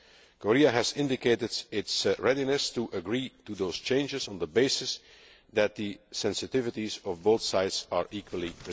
Korea has indicated its readiness to agree to those changes on the basis that the sensitivities of both sides are equally respected.